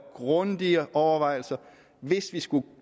grundige overvejelser hvis vi skulle